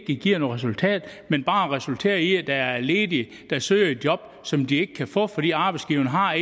ikke giver noget resultat man bare resulterer i at der er ledige der søger job som de ikke kan få fordi arbejdsgiverne har